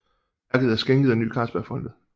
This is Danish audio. Værket er skænket af Ny Carlsbergfondet